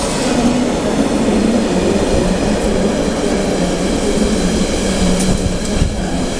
Kwahoteka, nimaikirio nja ya kĩrabu kia ndabĩ kuma nditimurano cia Karabao